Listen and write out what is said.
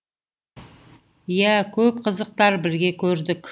иә көп қызықтар бірге көрдік